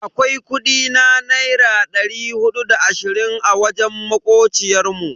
Akwai kudi na naira dari hudu da da ashirin a wajen makociyar mu.